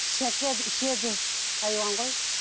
ішеді айуан ғой